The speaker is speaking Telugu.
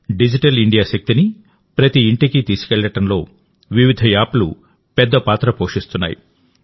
డిజిటల్ ఇండియా శక్తిని ప్రతి ఇంటికి తీసుకెళ్లడంలో వివిధ యాప్లు పెద్ద పాత్ర పోషిస్తున్నాయి